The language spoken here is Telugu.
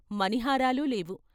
మణిహారాలు లేవు.